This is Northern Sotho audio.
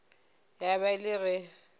ya ba e le ge